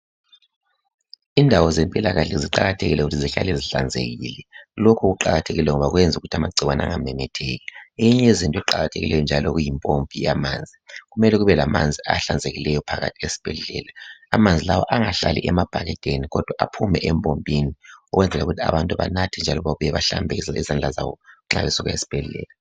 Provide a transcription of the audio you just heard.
Indawo zempilakahle ziqakathekile ukuthi zihlale zihlanzekile. Lokhu kuqakathekile ngoba kwenzukuthi amagcikwane angamemetheki. Eyinye yezinto eziqakathekileyo njalo kuyimpompi yamanzi, kumele kube lamanzi ahlanzekileyo phakathi esibhedlela. Amanzi lawa angahlali emabhakedeni kodwa aphume empompini ukwenzela ukuthi abantu banathe njalo babuye bahlambe izandla zabo nxa besuka esibhedlela.